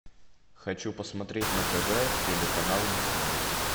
хочу посмотреть на тв телеканал дисней